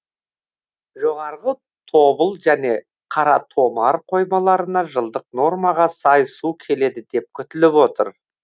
жоғарғы тобыл және қаратомар қоймаларына жылдық нормаға сай су келеді деп күтіліп отыр